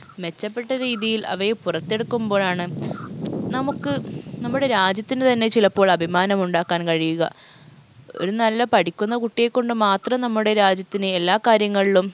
മെച്ചപ്പെട്ട രീതിയിൽ അവയെ പുറത്തെടുക്കുമ്പോഴാണ് നമുക്ക് നമ്മുടെ രാജ്യത്തിന് തന്നെ ചിലപ്പോൾ അഭിമാനമുണ്ടാക്കാൻ കഴിയുക ഒരു നല്ല പഠിക്കുന്ന കുട്ടിയെ കൊണ്ട് മാത്രം നമ്മുടെ രാജ്യത്തിന് എല്ലാ കാര്യങ്ങളിലും